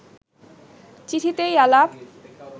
চিঠিতেই আলাপ